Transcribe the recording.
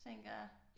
Tænker jeg